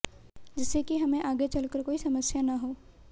जिससे कि हमें आगे चलकर कोई समस्या न हो